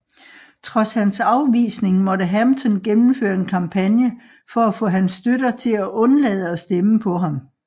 Trods hans afvisning måtte Hampton gennemføre en kampagne for at få hans støtter til at undlade at stemme på ham